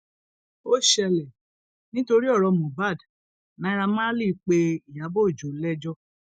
ó ṣẹlẹ nítorí ọrọ mohbad naira marley pé ìyàbọ ọjọ lẹjọ